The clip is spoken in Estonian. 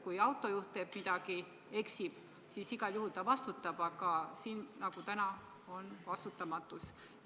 Kui autojuht teeb midagi, eksib, siis ta igal juhul vastutab, aga siin nagu on vastutamatus.